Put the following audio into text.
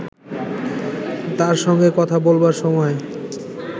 তার সঙ্গে কথা বলবার সময়